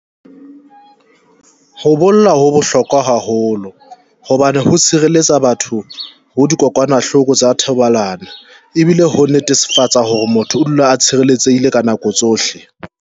Ho bolla ho bohlokwa haholo hobane ho sireletsa batho ho dikokwanahloko tsa thobalano, e bile ho netefatsa hore motho o dula a tshireletsehile ka nako tsohle.